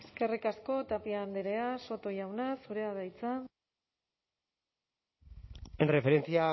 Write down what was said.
eskerrik asko tapia andrea soto jauna zurea da hitza en referencia